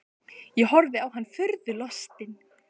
Ég horfði á hann furðu lostinn.